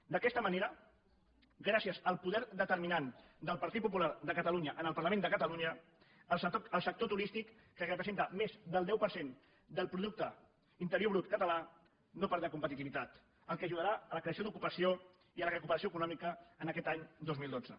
d’aquesta manera gràcies al poder determinant del partit popular de catalunya en el parlament de catalunya el sector turístic que representa més del deu per cent del producte interior brut català no perdrà competitivitat el que ajudarà a la creació d’ocupació i a la recuperació econòmica en aquest any dos mil dotze